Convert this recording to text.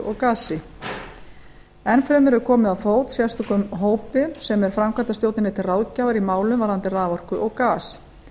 og gasi enn fremur er komið á fót sérstökum hópi sem er framkvæmdastjórninni til ráðgjafar í málum varðandi raforku og gas